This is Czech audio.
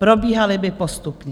Probíhaly by postupně.